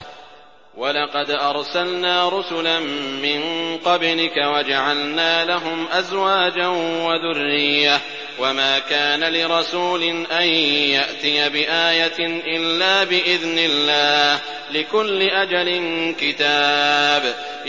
وَلَقَدْ أَرْسَلْنَا رُسُلًا مِّن قَبْلِكَ وَجَعَلْنَا لَهُمْ أَزْوَاجًا وَذُرِّيَّةً ۚ وَمَا كَانَ لِرَسُولٍ أَن يَأْتِيَ بِآيَةٍ إِلَّا بِإِذْنِ اللَّهِ ۗ لِكُلِّ أَجَلٍ كِتَابٌ